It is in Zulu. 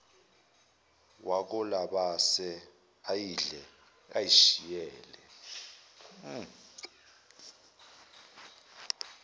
wakolabase ayidle izishiyele